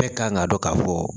Bɛɛ kan ga dɔn ka fɔ